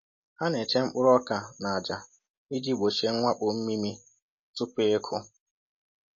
“Ha na-eche mkpụrụ ọka na aja iji gbochie mwakpo mmịmị tupu ịkụ